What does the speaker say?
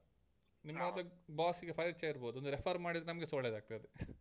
ನಿಮ್ಮದು boss ಗೆ ಪರಿಚಯ ಇರ್ಬೋದು ಒಂದು refer ಮಾಡಿದ್ರೆ ನಮ್ಗೆಸ ಒಳ್ಳೇದಾಗ್ತದೆ .